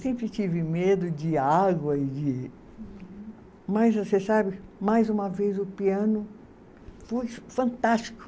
Sempre tive medo de água e de. Uhum. Mas você sabe, mais uma vez o piano foi fantástico.